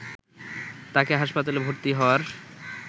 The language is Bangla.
তাকে হাসপাতালে ভর্তি হওয়ার